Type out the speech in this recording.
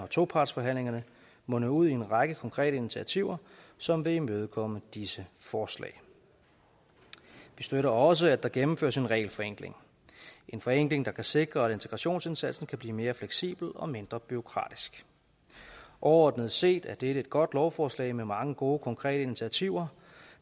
og topartsforhandlingerne mundede ud i en række konkrete initiativer som vil imødekomme disse forslag vi støtter også at der gennemføres en regelforenkling en forenkling der kan sikre at integrationsindsatsen kan blive mere fleksibel og mindre bureaukratisk overordnet set er dette et godt lovforslag med mange gode konkrete initiativer